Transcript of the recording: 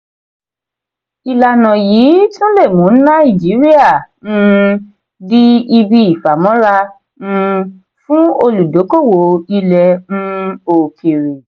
ìlànà yìí tún le mú nàìjíríà um di ibi ìfàmọ́ra um fún olùdókówó ilé um okere.